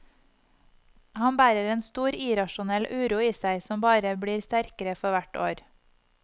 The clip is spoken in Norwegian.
Han bærer en stor, irrasjonell uro i seg, som bare blir sterkere for hvert år.